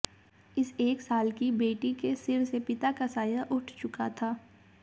इस एक साल की बेटी के सिर से पिता का साया उठ चुका था